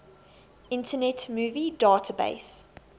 internet movie database